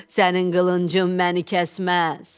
Sənin qılıncın məni kəsməz.